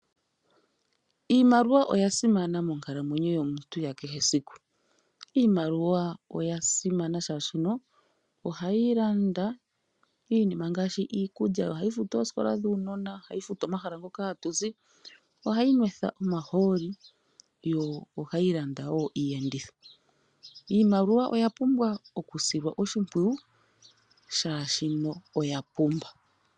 Iimaliwa oya simana monkalamwenyo yomuntu ya kehe esiku. Iimaliwa oya simana shaashi ohayi landa iinima ngaashi iikulya, ohayi futu oosikola dhuunona oshowo omahala moka hatuzi, ohayi nwethwa omahooli Osho wo oku landa iiyenditho. Iimaliwa oya pumbwa oku silwa oshimpwiyu shaashi oya pumba.